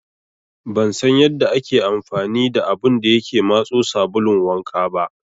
Ban san yanda ake amfani da abun da yake matso sabulun wanka ba.